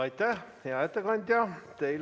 Aitäh, hea ettekandja!